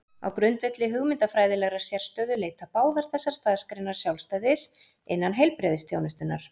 Á grundvelli hugmyndafræðilegrar sérstöðu leita báðar þessar starfsgreinar sjálfstæðis innan heilbrigðisþjónustunnar.